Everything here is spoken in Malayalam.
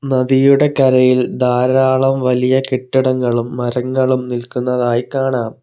നദിയുടെ കരയിൽ ധാരാളം വലിയ കെട്ടിടങ്ങളും മരങ്ങളും നിൽക്കുന്നതായി കാണാം.